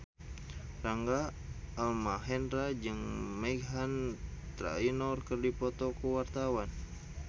Rangga Almahendra jeung Meghan Trainor keur dipoto ku wartawan